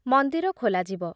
ମନ୍ଦିର ଖୋଲାଯିବ।